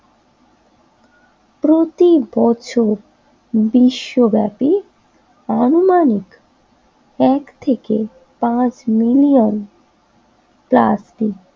প্রতিবছর বিশ্বব্যাপী আনুমানিক এক থেকে পাঁচ মিলিয়ন প্লাস্টিক ব্যাগ